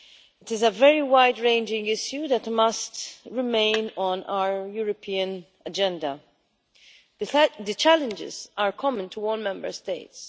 It is a very wide ranging issue that must remain on our European agenda. The challenges are common to all Member States.